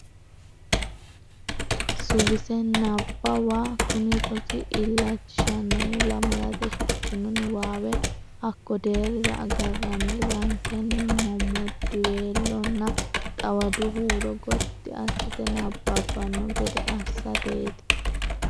Suwise Nabbawa Kuni rosi illachishannohu lamalate shiqqanno niwaawe hakko deerrira agarranni rankenni mommoddiweelonna xawadu huuro gotti assite nabbabbanno gede assateeti.